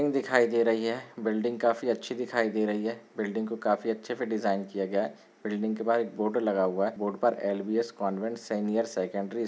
building दिखाई दे रही है बिल्डिंग काफी अच्छी दिखाई दे रही है बिल्डिंग को काफी अच्छे से डिज़ाइन किया है बिल्डिंग के बाहर एक बोर्ड लगा हुआ है बोर्ड पर एलबीएस कॉन्वेंट सीनियर सेकेंडरी --